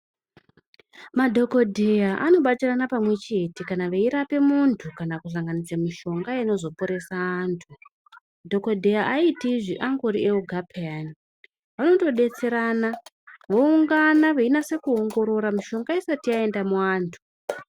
Madhokodheya anobatira pamwe chete kana eirapa muntu kana kusanganisa mishonga inoporesa antu dhokodheya aiti angori oga piyani vanotodetserana voungana veinasa kuongorora mushonga esati yaenda kuvantu.